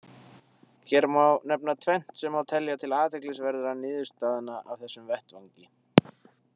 Hér má nefna tvennt sem má telja til athyglisverðra niðurstaðna af þessum vettvangi.